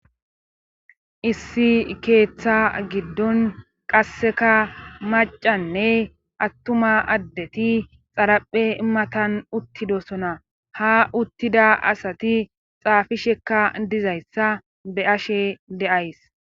Issi keeththa giddon qasseka macanne attuma addeti xaraphe matan uttidosona ha uttida asati xaafishekka dizayssa be ashe de7ays